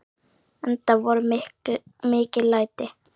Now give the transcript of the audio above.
Enda voru mikil læti.